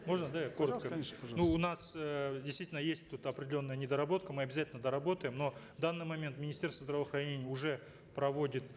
можно да я коротко пожалуйста конечно ну у нас э действительно есть тут определенная недоработка мы обязательно доработаем но в данный момент министерство здравоохранения уже проводит